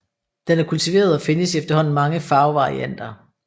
Den er kultiveret og findes i efterhånden mange farvevarianter